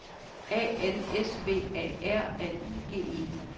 A N S V A R L I G E